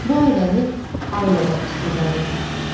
Bu ailəni ailə başçısı idarə eləyir.